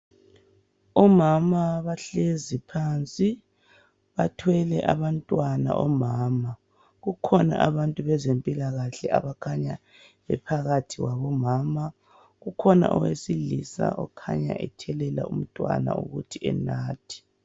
Omama bahlezi phansi bathwele abantwana omama kukhona abantu bezempilakahle abakhanya bephakathi kwabo omama ukhona owesilisa okhanya ethelela umntwana ukuthi enathe.